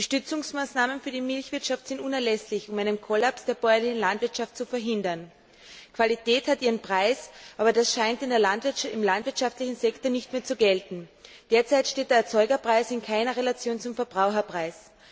Die Stützungsmaßnahmen für die Milchwirtschaft sind unerlässlich, um einen Kollaps der bäuerlichen Landwirtschaft zu verhindern. Qualität hat ihren Preis, aber das scheint im landwirtschaftlichen Sektor nicht mehr zu gelten. Derzeit steht der Erzeugerpreis in keiner Relation zum Verbraucherpreis.